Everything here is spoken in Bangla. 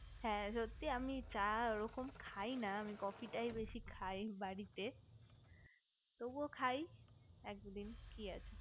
হ্যা সত্যি আমি চা ওরকম খাই না আমি coffe টাই বেশি খাই বাড়িতে তবুও খাই একদিন কি আছে